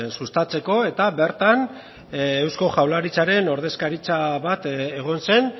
sustatzeko eta bertan eusko jaurlaritzaren ordezkaritza bat egon zen